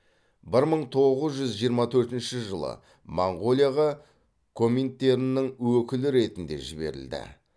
бір мың тоғыз жүз жиырма төртінші жылы монғолияға коминтерннің өкілі ретінде жіберілді